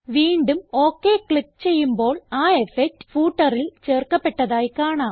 വീണ്ടും okay click ചെയ്യുമ്പോൾ ആ ഇഫക്ട് footerൽ ചേർക്കപ്പെട്ടതായി കാണാം